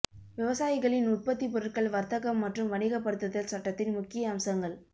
விவசாயிகளின் உற்பத்தி பொருட்கள் வர்த்தகம் மற்றும் வணிகப்படுத்துதல் சட்டத்தின் முக்கிய அம்சங்கள்